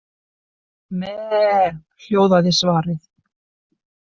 Meee, hljóðaði svarið.